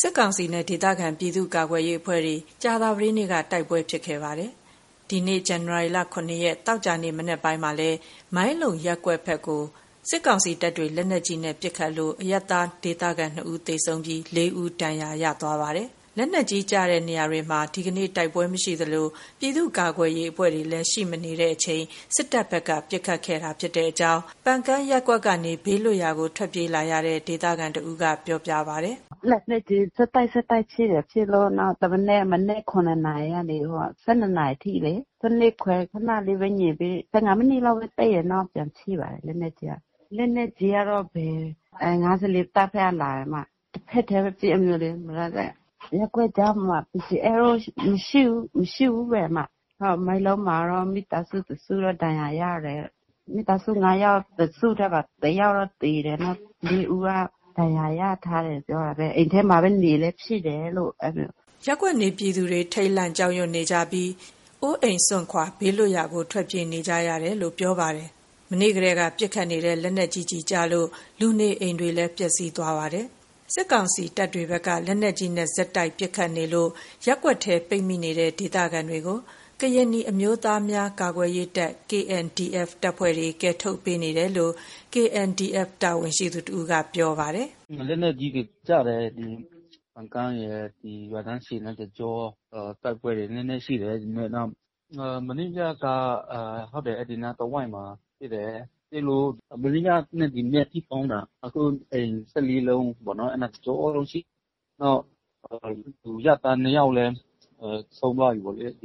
စစ်ကောင်စီနဲ့ ဒေသခံပြည်သူ့ကာကွယ်ရေးအဖွဲ့တွေ ကြာသပတေးနေ့က တိုက်ပွဲတွေဖြစ်ခဲ့ကြပါတယ်။ ဒီနေ့ ဇန်နဝါရီ ၇ ရက် သောကြာနေ့မနက်ပိုင်းမှာတော့ မိုင်းလုံရပ်ကွက်ဘက် ကို စစ်ကောင်စီတပ်တွေ လက်နက်ကြီးနဲ့ပစ်ခတ်လို့ အရပ်သားဒေသခံ ၂ ဦးသေဆုံးပြီး ၄ ဦး ဒဏ်ရာရခဲ့ပါတယ်။ လက်နက်ကြီးကျတဲ့နေရာတွေမှာ ဒီနေ့ တိုက်ပွဲမရှိသလို ပြည်သူ့ ကာကွယ်ရေးအဖွဲ့တွေလည်း ရှိမနေချိန် စစ်တပ်ဘက်က ပစ်ခတ်ခဲ့တာလို့ ပန်ကန်းရပ်ကွက်ကနေ ဘေးလွတ်ရာကို ထွက်ပြေးလာရတဲ့ ဒေသခံတဦးက ပြောပြပါတယ်။ “လက်နက်ကြီး ဆက်တိုက် ဆက်တိုက်ဖြစ်တယ်။ နောက် တမနက် မနက် ၇ နာရီကနေ ၁၂ နာရီအထိလေ။ ၁၂ ခွဲ ခဏလေးပဲငြိမ်ပြီး ၁၅ မိနစ်လောက်ပဲ တိတ်တယ်။ နောက်ပြန်ပစ်ပါတယ်- လက်နက်ကြီးက။ လက်နက်ကြီးကတော့ ၅၄ တပ်ဘက်ကလာတယ်။ တဘက်တည်းပဲပစ် အဲ့မျိုးလေ။ ရပ်ကွက်ကြားမှာ PDF တော့ မရှိဘူးပဲ။ ဟုတ်။ မိုင်းလုံ မှာကတော့ မိသားစုတစုတော့ ဒဏ်ရာရတယ်။ မိသားစု ၅ ယောက်တစုထဲပါ။ တယောက်တော့ သေတယ်။ နောက် ၄ ဦးက ဒဏ်ရာရထားတယ်ပြောတာပဲ။ အိမ်ထဲမှာနေလည်း ဖြစ်တယ်လို့ အဲ့လိုမျိုး။” ရပ်ကွက်နေပြည်သူတွေ ထိတ်လန့် ကြောက်ရွံ့နေကြပြီး အိုးအိမ်စွန့်ခွာ ဘေးလွတ်ရာကို ထွက်ပြေးနေကြရတယ်လို့ ပြောပါတယ်။ မနေ့ကတည်းက ပစ်ခတ်နေတဲ့ လက်နက်ကြီးကျည်ကျလို့ လူနေအိမ်တွေလည်း ပျက်စီးခဲ့ပါတယ်။ စစ်ကောင်စီတပ်တွေဘက်က လက်နက်ကြီးနဲ့ ဆက်တိုက်ပစ်ခတ်နေတာကြောင့် ရပ်ကွက်ထဲ ပိတ်မိနေကြတဲ့ ဒေသခံတွေကို ကရင်နီအမျိုးသားများကာကွယ်ရေးတပ် KNDF တပ်ဖွဲ့တွေကယ်ထုတ်ပေးနေတယ်လို့ KNDF တာဝန်ရှိသူ တဦးက ပြောဆိုပါတယ်။ “လက်နက်ကြီးတွေကျတယ်။ ပန်ကန်းရယ်၊ ဒီရွာတန်းရှည်လမ်းတကျော တိုက်ပွဲတွေ နည်းနည်းရှိတယ် ဒီနေ့ ၊ မနေ့ညက ဟုတ်။ အဲ့ဒီအနားတဝိုက်မှာ ဖြစ်တယ်။ အိမ်တွေပေါ်ပစ်လို့ မနေ့ညနဲ့ ဒီမနက်အထိဆို ပေါင်းတာ အခု အိမ် ၁၄ လုံးပေါ့နော်။ အဲ့နားတကျောလုံး ဖျက်စီးတယ်။ နောက်အရပ်သား ၂ ယောက်လည်း ဆုံးသွားပြီပေါ့လေ။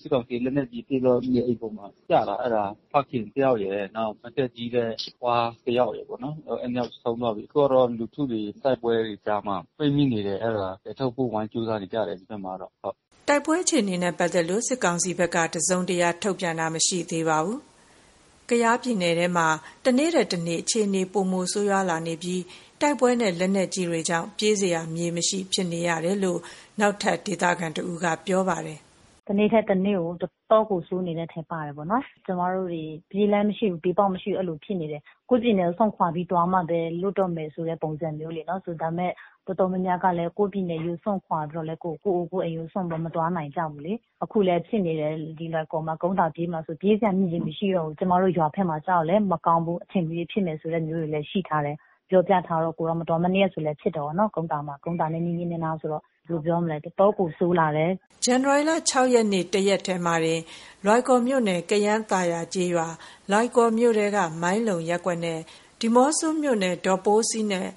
စစ်ကောင်စီ လက်နက်ကြီးပစ်တော့ နေအိမ်ပေါ်မှာကျတာ။ အဲ့ဒါ ဖခင်တယောက်ရယ် နောက် အသက်ကြီးတဲ့ အဖွားတယောက်ရယ်ပေါ့နော်။ အဲ့၂ ယောက်ဆုံးသွားပြီ။ အခု တိုက်ပွဲတွေကြားမှာ လူတွေပိတ်မိနေတယ်။ အဲ့ဒါ ကယ်ထုတ်ဖို့ ဝိုင်းကြိုးစားနေကြတယ် ဒီဘက်မှာကတော့ ဟုတ်။” တိုက်ပွဲအခြေအနေနဲ့ပတ်သက်လို့ စစ်ကောင်စီဘက်က တစုံတရာထုတ်ပြန်တာ မရှိသေး ပါဘူး။ ကယားနယ်ထဲမှာ တနေ့ထက်တနေ့ အခြေအနေ ပိုမိုဆိုးရွားလာပြီး တိုက်ပွဲနဲ့ လက်နက်ကြီးတွေကြောင့် ပြေးစရာမြေမရှိဖြစ်နေရတယ်လို့ နောက်ထပ်ဒေသခံတဦးက ဆိုပါတယ်။ “တနေ့ထက်တနေ့ကို တော်တော်ကို ဆိုးနေတဲ့အထဲပါတယ်ပေါ့နော်။ ကျမတို့တွေ ပြေးလမ်းမရှိဘူး။ ပြေးပေါက်မရှိဘူး-အဲ့လိုဖြစ်တယ်။ ကိုယ့်ပြည်နယ်ကို စွန့်ခွာပြီး သွားမှပဲ လွတ်တော့မယ်ဆိုတဲ့ ပုံစံမျိုးလေးနော်။ ဒါပေမယ့် တော်တော်များများကလည်း ကိုယ့်ပြည်နယ်ကို စွန့်ခွာပြီးတော့ ကိုယ့်အိမ်ကိုစွန့်ပြီး မသွားနိုင်ကြဘူးလေ။ အခုလည်း ဖြစ်နေတယ်။ ဒီလွိုင်ကော်မှာ ကုန်းသာ ပြေးမယ်ဆိုရင် ပြေးစရာမြေမရှိတော့ဘူး။ ကျမတို့ ရွာဘက်မှာကျတော့လည်း မကောင်းဘူး။ အချိန်မရွေးဖြစ်မယ်ဆိုတာမျိုးလည်း ရှိထားတယ်။ ပြောပြထားတော့ မနေ့ကဆိုလည်း ဖြစ်တယ်ပေ့ါနော်။ ကုန်းသာမှာ၊ ကုန်းသာနဲ့ နီးနီးနားနားဆိုတော့ ဘယ်လိုပြောမလဲ။ တော်တော့ကို ဆိုးလာတယ်။” ဇန်နဝါရီ ၆ ရက်နေ့ တရက်တည်းမှာတင် လွိုင်ကော်မြို့နယ် ကယန်းသာယာကျေးရွာ၊ လွိုင်ကော်မြို့ထဲက မိုင်းလုံရပ်ကွက်နဲ့ ဒီးမော့ဆိုမြို့နယ် ဒေါပိုးစီနဲ့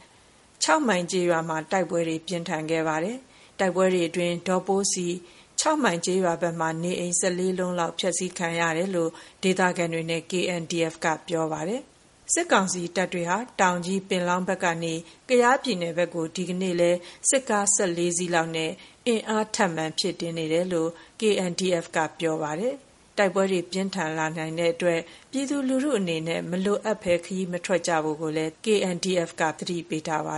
၆ မိုင်ကျေးရွာမှာ တိုက် ပွဲတွေပြင်းခဲ့ပါတယ်။ တိုက်ပွဲတွေအတွင်း ဒေါပိုးစီ၊ ၆ မိုင်ကျေးရွာဘက်မှာ နေအိမ် ၁၄ လုံးလောက် မီးရှို့ဖျက်စီးခံရတယ်လို့ ဒေသခံတွေနဲ့ KNDF က ပြောပါတယ်။ စစ်ကောင်စီတပ်တွေဟာ တောင်ကြီး၊ ပင်လောင်းဘက်ကနေ ကယားပြည်နယ်ဘက်ကို ဒီနေ့လည်း စစ်ကား ၁၄ စီးလောက် အင်းအားထပ်မံဖြည်တင်းနေတယ်လို့ KNDF ကပြောပါတယ်။ တိုက်ပွဲတွေ ပိုပြင်းထန်လာနိုင်တဲ့အတွက် ပြည်သူလူထုအနေနဲ့ မလိုအပ်ရင် ခရီးမသွားလာကြဖို့လည်း KNDF က သတိပေးထားပါ